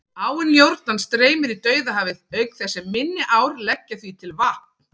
Áin Jórdan streymir í Dauðahafið, auk þess sem minni ár leggja því til vatn.